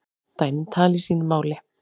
Dæmin tali sínu máli.